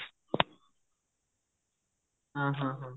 ଓ ହୋ ହୋ